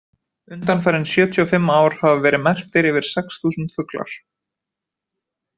Undanfarin sjötíu og fimm ár hafa verið merktir yfir sex þúsund fuglar.